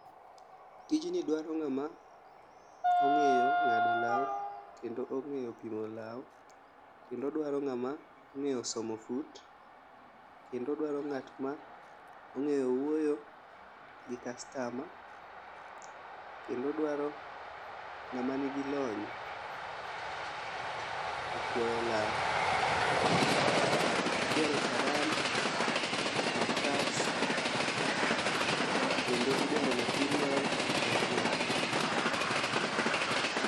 Tijni dwaro ng'ama ong'eyo ng'ado law kendo ong'eyo pimo law kendo dwaro ng'ama ong'eyo somo fut, kendo owdaro ng'at ma ong'eyo wuoyo gi kastama kendo odwaro ng'ama nigi lony e kuoyo law. Idwaro charan, makas kendo idwaro material mar law.